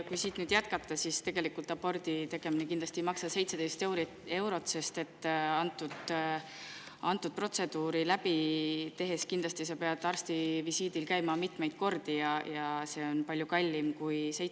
Kui siit nüüd jätkata, siis tegelikult abordi tegemine kindlasti ei maksa 17 eurot, sest seda protseduuri tehes pead sa arstivisiidil käima mitmeid kordi ja see on palju kallim kui 17 eurot.